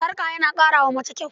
Sarƙa tana ƙara wa mace kyau.